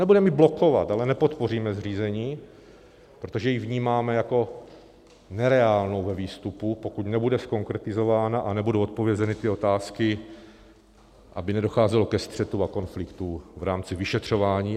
Nebudeme ji blokovat, ale nepodpoříme zřízení, protože ji vnímáme jako nereálnou ve výstupu, pokud nebude zkonkretizována a nebudou odpovězeny ty otázky, aby nedocházelo ke střetům a konfliktům v rámci vyšetřování.